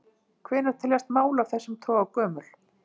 Hvenær teljast mál af þessum toga gömul?